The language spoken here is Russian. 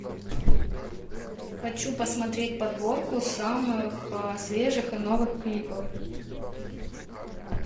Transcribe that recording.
хочу посмотреть подборку самых свежих и новых клипов